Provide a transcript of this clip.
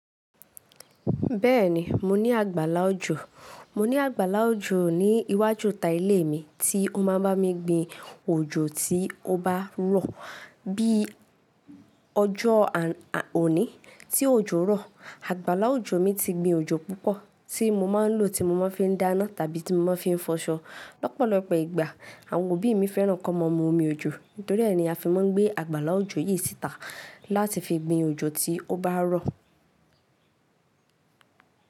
Bẹ́ẹ̀ni, mo ní àgbàlá òjò. Mo ní àgbàlá òjò ní iwájú ta ilé mi tí ó má a ń bá mi gbe òjò tí ó bá rọ̀. Bí ọjọ́ òní tí òjò rọ̀, àgbàlá òjò mi ti gbe òjò púpọ̀ tí mo máa ń lò tí mo máa ń fi dáná tàbí tí mo máa ń fi ń fọṣọ. Lọ́pọ̀lọpọ̀ ìgbà àwọn òbí mi fẹ́ràn kó máa mu omi òjò, nítorí ní a fi máa ń gbé àgbàlá òjò yìí síta láti fi gbi òjò tí ó bá rọ̀